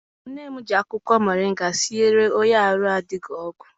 Nne m ji akwụkwọ moringa siere onye arụ adịghị ọgwụ.